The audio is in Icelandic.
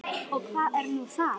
Og hvað er nú það?